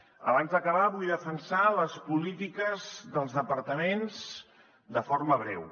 abans d’acabar vull defensar les polítiques dels departaments de forma breu